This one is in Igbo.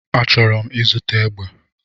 Achọrọ m ịzụta egbe